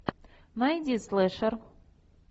найди слэшер